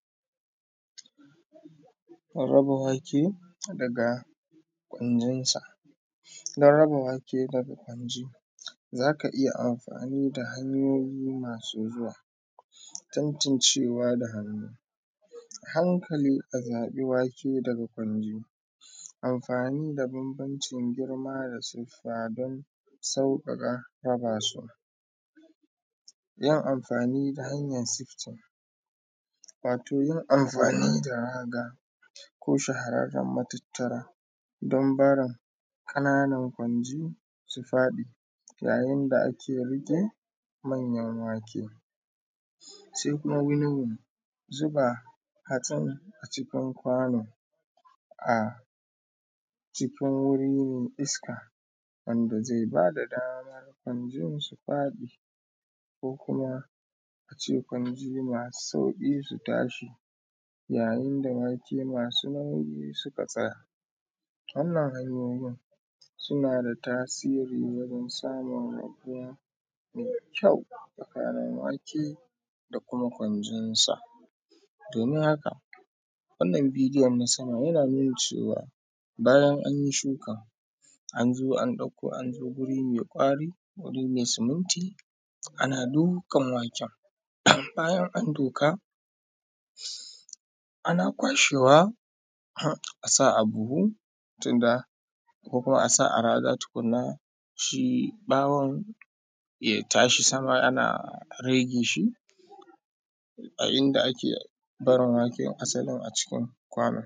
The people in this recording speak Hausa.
Raba wake daga gwanjinsa. Dan raba wake daga gwanji za ka iya amfani da hanyoyi masu zuwa, tantancewa da hannu a hankali a zaɓi wake daga gwarjini amfani da banbancin girma da kuma tsufa, dan sauƙaƙa su yin amfani da hanyan tsiftu. Wato, yin amfani da rada ko shaharraen matattara don barin ƙanan nan gwarjini su baɗi yayin da ake riƙe manyan wake se kuma wurin zuba hatsin a cikin kwano, a cikin wuri me iska wanda ze bada daman wanjen suka fi ko kuma a ce gwanji masu sauki su dinga tashi yayin da wake masu nauyi suka tsaya. Wannna hanyoyin suna da tasri wajen samun hanya me kyau na fari nawake da kuma gwanjinsa domin haka wannan bidiyon na sama yana nuna cewa bayan an yi shuka, an zo an ɗauko, an zo wuri me kwari, wuri me siminti ana dukan waken. Bayan an duka ana kwashewa har a sa a buhu tunda ko kuma a sa a raga tukun na, shi ɓawon ya tashi sama ana rege shi a inda ake barin waken asalin a cikin kwanon.